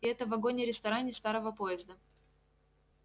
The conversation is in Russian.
и это в вагоне-ресторане старого поезда